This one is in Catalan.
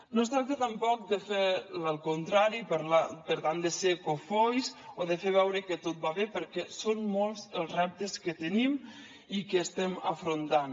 no es tracta tampoc de fer el contrari per tant de ser cofois o de fer veure que tot va bé perquè són molts els reptes que tenim i que estem afrontant